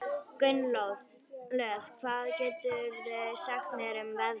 Gunnlöð, hvað geturðu sagt mér um veðrið?